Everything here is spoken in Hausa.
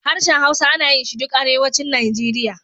Harshen Hausa ana yin shi duk Arewacin Nigeria.